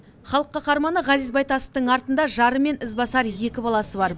халық қаһарманы ғазиз байтасовтың артында жары мен ізбасар екі баласы бар